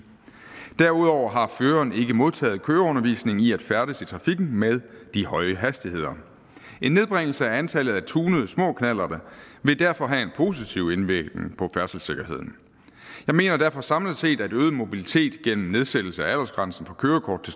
derudover har føreren ikke modtaget køreundervisning i at færdes i trafikken med de høje hastigheder en nedbringelse af antallet af tunede små knallerter vil derfor have en positiv indvirkning på færdselssikkerheden jeg mener derfor samlet set at øget mobilitet gennem nedsættelse af aldersgrænsen for kørekort